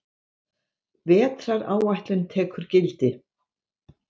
Vetraráætlun tekur gildi